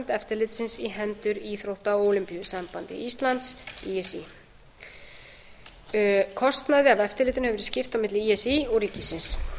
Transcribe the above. eftirlitsins í hendur íþrótta og ólympíusambandi íslands í s í kostnaði af eftirlitinu hefur verið skipt á milli í s í og ríkisins